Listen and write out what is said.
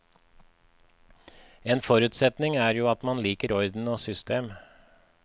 En forutsetning er jo at man liker orden og system.